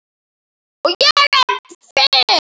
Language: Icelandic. Skiptir aldrei skapi.